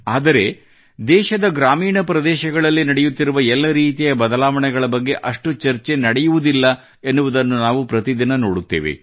ಆದರೆ ದೇಶದ ಗ್ರಾಮೀಣ ಪ್ರದೇಶಗಳಲ್ಲಿ ನಡೆಯುತ್ತಿರುವ ಎಲ್ಲ ರೀತಿಯ ಬದಲಾವಣೆಗಳ ಬಗ್ಗೆ ಅಷ್ಟು ಚರ್ಚೆ ನಡೆಯುವುದಿಲ್ಲ ಎನ್ನುವುದನ್ನು ನಾವು ಪ್ರತಿದಿನ ನೋಡುತ್ತೇವೆ